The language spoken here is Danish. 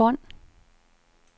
bånd